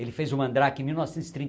Ele fez o Mandrake em mil novecentos e